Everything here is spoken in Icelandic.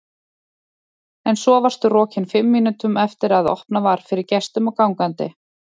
En svo varstu rokin fimm mínútum eftir að opnað var fyrir gestum og gangandi.